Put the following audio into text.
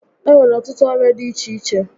E nwere ọtụtụ ọrịa dị iche iche